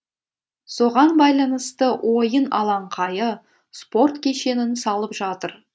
соған байланысты ойын алаңқайы спорт кешенін салып жатыр